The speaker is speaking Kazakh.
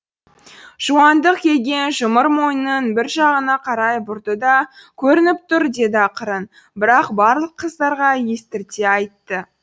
жуантық келген жұмыр мойнын бір жағына қарай бұрды да көрініп тұр деді ақырын бірақ барлық қыздарға естірте айтты